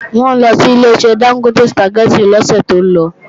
Wọ́n lọ sí Ileṣẹ́ Dángótè Sùpàgẹ́tì lọ́sẹ̀ tó lọ